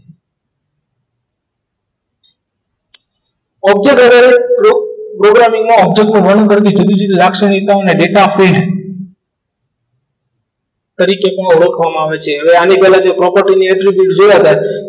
object વર્ણન કરતી જુદી જુદી લાક્ષણિકતા અને ડેટા ડેટા આપો એ તરીકે લખવામાં આવે છે હવે આની પહેલા જે property ની અને entry જોયા હતા